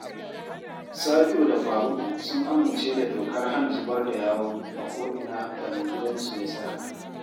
Sabi’u da Faruku sun amince da dokar hana zubar da yawu a ko’ina da mai gidansu ya saka